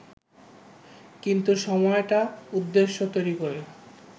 কিন্তু সময়টা উদ্দেশ্য তৈরি করে